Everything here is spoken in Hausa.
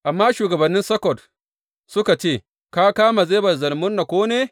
Amma shugabannin Sukkot suka ce, Ka kama Zeba da Zalmunna ko ne?